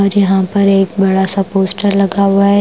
और यहां पर एक बड़ा सा पोस्टर लगा हुआ है ।